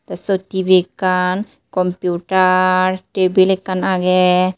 Ei siyot T_V ekkan computer tebil ekkan age.